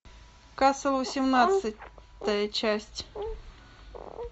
касл восемнадцатая часть